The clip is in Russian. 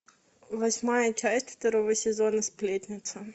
восьмая часть второго сезона сплетница